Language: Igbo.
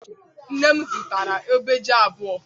Nne m zụtara ube ji abụọ.